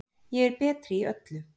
Ég er betri í öllu.